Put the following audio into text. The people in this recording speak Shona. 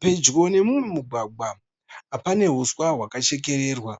Pedyo nemumwe mugwagwa pane huswa hwakachekererwa.